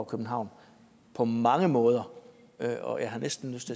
københavn på mange måder og jeg har næsten lyst